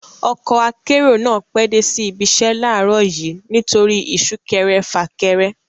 Ọkọ akérò náà pẹ́ dé sí ibiṣẹ́ láàrọ̀ yìí nítorí isúkẹrẹ fàkẹrẹ